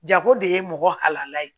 Jago de ye mɔgɔ halala ye